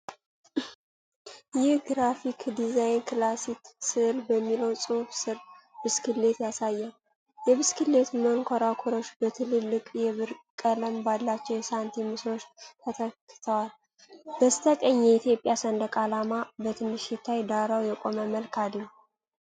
ይህ ግራፊክ ዲዛይን "ክላሲክ ስዕል" በሚለው ጽሑፍ ስር ብስክሌት ያሳያል። የብስክሌቱ መንኮራኩሮች በትልልቅ የብር ቀለም ባላቸው የሳንቲም ምስሎች ተተክተዋል። በስተቀኝ የኢትዮጵያ ሰንደቅ ዓላማ በትንሹ ሲታይ፣ ዳራው የቆየ መልክ አለው።